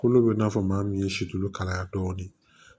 Kolo bɛ i n'a fɔ maa min ye situlu kalaya dɔɔni